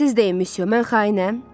Siz deyin misyo, mən xainəm?